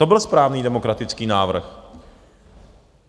To byl správný demokratický návrh.